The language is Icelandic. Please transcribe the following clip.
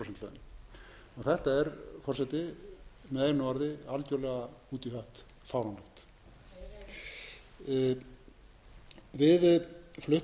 þetta er forseti með einu orði algjörlega út í hött fáránlegt við flutningsmenn teljum að launin eigi að vera jöfn